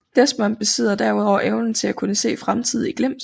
Desmond besidder derudover evnen til at kunne se fremtiden i glimt